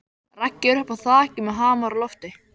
Raggi er uppi á þaki með hamar á lofti.